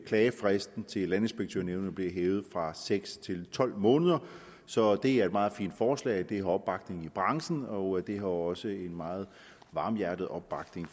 klagefristen til landinspektørnævnet bliver hævet fra seks til tolv måneder så det er et meget fint forslag det har opbakning i branchen og det har også en meget varmhjertet opbakning